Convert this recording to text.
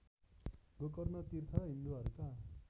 गोकर्ण तीर्थ हिन्दूहरूका